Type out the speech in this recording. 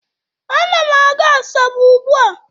A na m aga Asaba ugbua